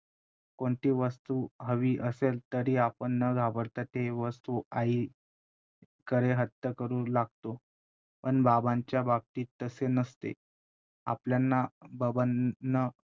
कोणतीही वस्तू हवी असेल तरी आपण न घाबरता ती वस्तू आईकडे हट्ट करू लागतो, पण बाबांच्या बाबतीत तसे नसते. आपल्यांना बाबांना